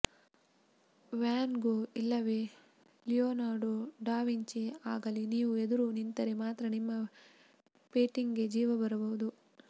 van Gogh ಇಲ್ಲವೇ Leonardo da Vinci ಆಗಲಿ ನೀವು ಎದುರು ನಿಂತರೆ ಮಾತ್ರ ನಿಮ್ಮ ಪೇಟಿಂಗ್ಗೆ ಜೀವ ಬರಬಹುದು